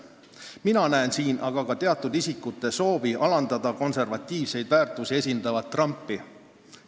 Mina näen siin ka teatud isikute soovi alandada konservatiivseid väärtusi esindavat Trumpi.